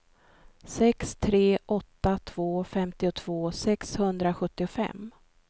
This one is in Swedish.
sex tre åtta två femtiotvå sexhundrasjuttiofem